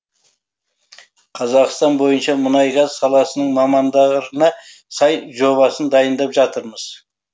қазақстан бойынша мұнай газ саласының мамандарына сай жобасын дайындап жатырмыз